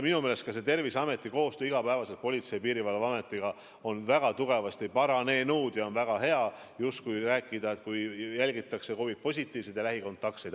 Minu meelest ka Terviseameti igapäevane koostöö Politsei- ja Piirivalveametiga on väga tugevasti paranenud ja on väga hea rääkida, et jälgitakse COVID-positiivseid ja lähikontaktseid.